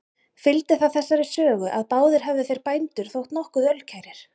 Fylgdi það þessari sögu, að báðir hefðu þeir bændur þótt nokkuð ölkærir.